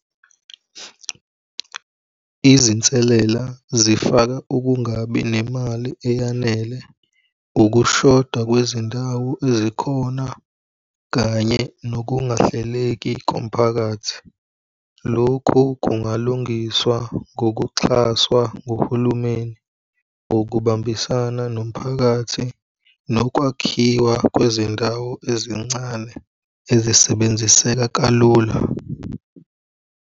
Izinselela zifaka ukungabi nemali eyanele, ukushoda kwezindawo ezikhona kanye nokungahleki komphakathi. Lokhu kungalungiswa ngokuxhaswa nguhulumeni, ngokubambisana nomphakathi nokwakhiwa kwezindawo ezincane ezisebenziseka kalula.